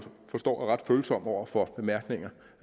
forstår er ret følsom over for bemærkninger